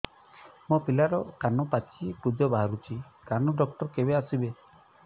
ମୋ ପିଲାର କାନ ପାଚି ପୂଜ ବାହାରୁଚି କାନ ଡକ୍ଟର କେବେ ଆସିବେ